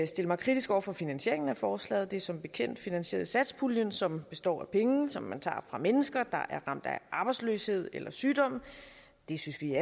stille mig kritisk over for finansieringen af forslaget det er som bekendt finansieret af satspuljen som består af penge som man tager fra mennesker der er ramt af arbejdsløshed eller sygdom det synes vi